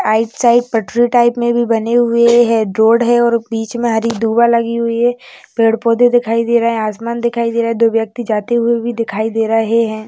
आयट साइट पटरी टाइप में भी बने हुए है रोड है और बीच में हरी दुवा लगी हुई है पेड़-पौधे दिखाई दे रहे है आसमान दिखाई दे रहे है दो व्यक्ति जाते हुए भी दिखाई दे रहे है.